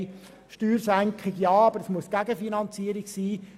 Wir unterstützen Steuersenkungen, solange sie gegenfinanziert werden.